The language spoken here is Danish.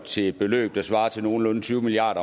til et beløb der svarer til nogenlunde tyve milliard